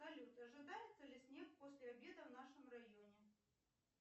салют ожидается ли снег после обеда в нашем районе